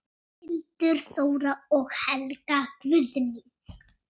Hildur Þóra og Helga Guðný.